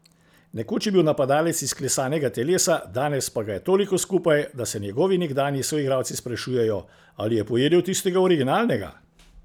Nekoč je bil napadalec izklesanega telesa, danes pa ga je toliko skupaj, da se njegovi nekdanji soigralci sprašujejo, ali je pojedel tistega originalnega.